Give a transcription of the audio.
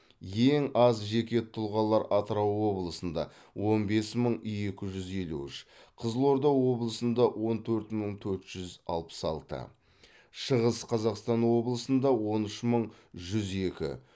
ең аз жеке тұлғалар атырау облысында он бес мың екі жүз елу үш қызылорда облысында он төрт мың төрт жүз алпыс алты шығыс қазақстан облысында он үш мың жүз екі